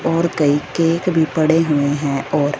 और कई केक भी पड़े हुए हैं और--